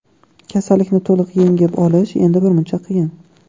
Kasallikni to‘liq yengib olish endi birmuncha qiyin.